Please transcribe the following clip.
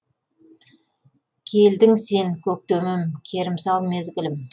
келдің сен көктемім керімсал мезгілім